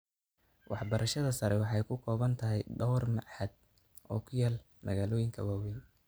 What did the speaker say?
Waxbarashada sare waxay ku kooban tahay dhawr machad oo ku yaal magaalooyinka waaweyn.